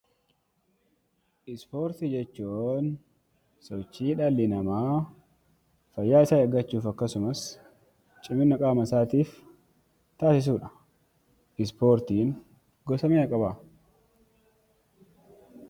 Ispoortii jechuun sochii dhalli namaa fayyaa isaa eeggachuuf, akkasumas cimina qaama isaatiif taasisuu dha. Ispoortiin gosa meeqa qabaa?